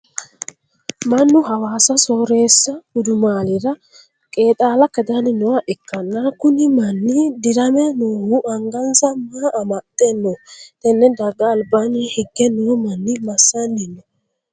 Mannu hawaassa sooreesu gudumaalira qeexaala kadanni nooha ikanna kunni manni dirame noohu angansa maa amaxe no? Tenne daga albaanni hige noo manni masanni no?